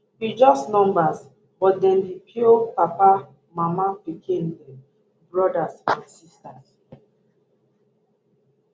be just numbers but dem be pio papa mama pikin brothers and sisters